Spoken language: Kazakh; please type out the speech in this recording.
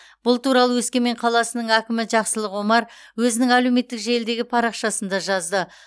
бұл туралы өскемен қаласының әкімі жақсылық омар өзінің әлеуметтік желідегі парақшасында жазды